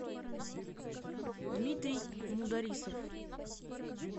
дмитрий мударисов